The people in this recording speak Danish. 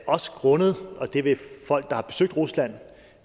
også grundet og det vil folk der har besøgt rusland